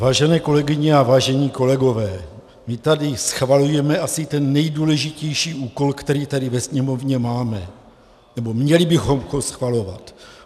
Vážené kolegyně a vážení kolegové, my tady schvalujeme asi ten nejdůležitější úkol, který tady ve Sněmovně máme, nebo měli bychom ho schvalovat.